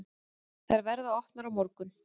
Þær verða opnar á morgun.